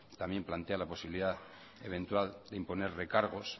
también plantea la posibilidad eventual de imponer recargos